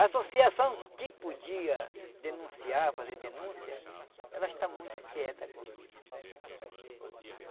A associação que podia denunciar, fazer denúncia, ela está muito quieta agora.